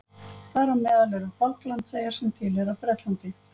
Þar á meðal eru Falklandseyjar sem tilheyra Bretlandi.